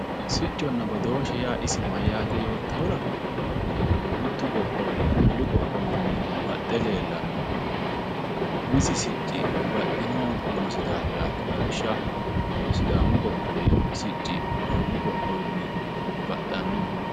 Sicconna badooshe yaa isi mayyate yoottahura mitu qoqqowi wolu qoqqowinni baxxe leellanohu umisi sicci baxxinohu noosi daafirati lawishshaho sidaamu qoqqowi sicci oromiyu qoqqowinni baxxano.